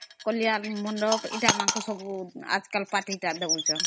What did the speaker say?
pavilion ଆଜି କାଲି ସବୁ ଏ Party ତା ଦଉଛନ୍ତ